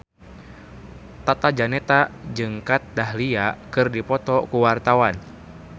Tata Janeta jeung Kat Dahlia keur dipoto ku wartawan